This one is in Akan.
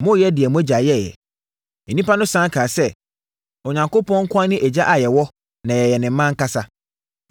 Moreyɛ deɛ mo agya yɛeɛ.” Nnipa no sane kaa sɛ, “Onyankopɔn nko ara ne Agya a yɛwɔ na yɛyɛ ne mma ankasa.”